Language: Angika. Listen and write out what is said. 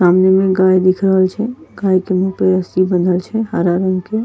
सामने में गाय दिख रहल छे गाय के मुँह पे रस्सी बंधल छे हरा रंग के।